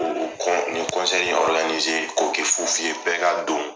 O o kɔn ni ni k'o kɛ fu fu ye bɛɛ ka don.